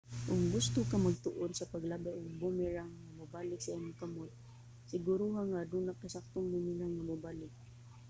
kon gusto ka magtuon sa paglabay og boomerang nga mobalik sa imong kamot siguruha nga aduna kay saktong boomerang nga mobalik